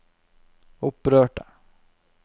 opprørte